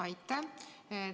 Aitäh!